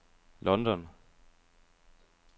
London